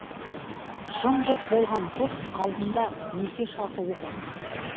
жым жырт болған жұрт алдында неке шарты оқылды